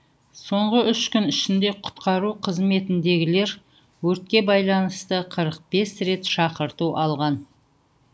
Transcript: соңғы үш күн ішінде құтқару қызметіндегілер өртке байланысты қырық бес рет шақырту алған